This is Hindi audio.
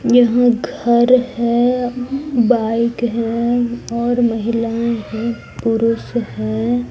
यहां घर है बाइक है और महिलाएं हैं पुरुष है।